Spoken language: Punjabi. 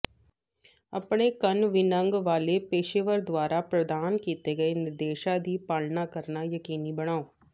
ਆਪਣੇ ਕੰਨ ਵਿੰਨ੍ਹਣ ਵਾਲੇ ਪੇਸ਼ੇਵਰ ਦੁਆਰਾ ਪ੍ਰਦਾਨ ਕੀਤੇ ਗਏ ਨਿਰਦੇਸ਼ਾਂ ਦੀ ਪਾਲਣਾ ਕਰਨਾ ਯਕੀਨੀ ਬਣਾਓ